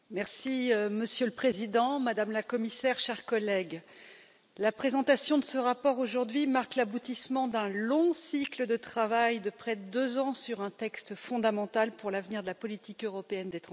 Monsieur le Président, Madame la Commissaire, chers collègues, la présentation de ce rapport aujourd'hui marque l'aboutissement d'un long cycle de travail de près de deux ans sur un texte fondamental pour l'avenir de la politique européenne des transports.